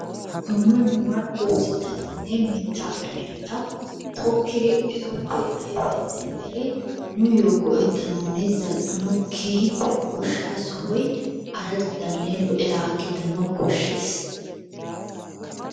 Dumma dumma doozatanne mitaa ayfeta tokkiri etuppe ayfiya demiri nuuyo go"ettanawunne zal'anawu keehippe goshshaa sohoy araddanne loiyagaa gidanawu koshshees.